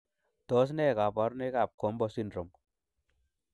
Tos nee koborunoikab GOMBO syndrome?